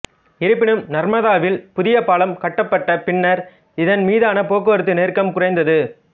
இருப்பினும் நர்மதாவில் புதிய பாலம் கட்டப்பட்ட பின்னர் இதன் மீதான போக்குவரத்து நெருக்கம் குறைந்தது